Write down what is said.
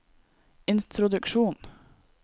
introduksjon